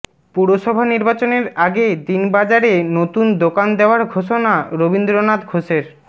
পুরসভা নির্বাচনের আগে দিনবাজারে নতুন দোকান দেওয়ার ঘোষণা রবীন্দ্রনাথ ঘোষের